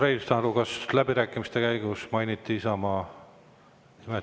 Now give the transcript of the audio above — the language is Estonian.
Urmas Reinsalu, kas läbirääkimiste käigus mainiti Isamaad?